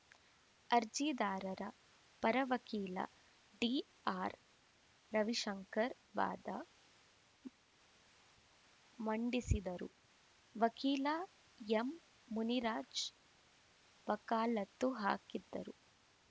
ಅರ್ಜಿದಾರರ ಪರ ವಕೀಲ ಡಿಆರ್‌ರವಿಶಂಕರ್‌ ವಾದ ಮಂಡಿಸಿದ್ದರು ವಕೀಲ ಎಂಮುನಿರಾಜ್ ವಕಾಲತ್ತು ಹಾಕಿದ್ದರು